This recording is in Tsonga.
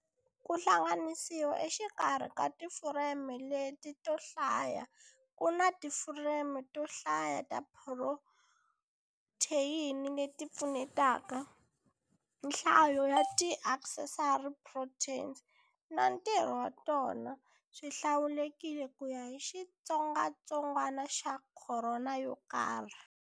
Ku hlanganisiwa exikarhi ka tifureme leti to hlaya ku na tifureme to hlaya ta tiphrotheyini leti pfunetaka. Nhlayo ya ti accessory proteins na ntirho wa tona swihlawulekile kuya hi xitsongatsongwana xa khorona yokarhi.